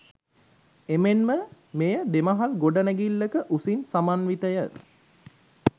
එමෙන්ම මෙය දෙමහල් ගොඩනැඟිල්ලක උසකින් සමන්විතය